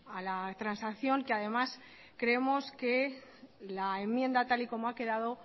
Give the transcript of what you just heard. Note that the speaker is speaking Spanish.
a la transacción que además creemos que la enmienda tal y como ha quedado